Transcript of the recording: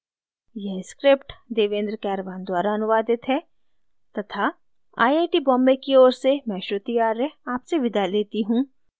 यह स्क्रिप्ट देवेन्द्र कैरवान द्वारा अनुवादित है तथा आई आई टी बॉम्बे की ओर से मैं श्रुति आर्य आपसे विदा लेती हूँ